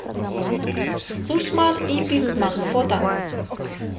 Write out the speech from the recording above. сушман и пиццман фото